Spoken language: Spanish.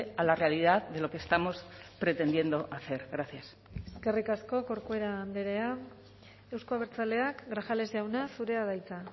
a la realidad de lo que estamos pretendiendo hacer gracias eskerrik asko corcuera andrea euzko abertzaleak grajales jauna zurea da hitza